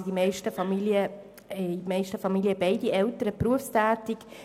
In den meisten Familien sind beide Elternteile berufstätig.